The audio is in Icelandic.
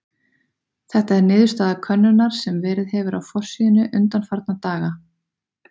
Þetta er niðurstaða könnunar sem verið hefur á forsíðunni undanfarna daga.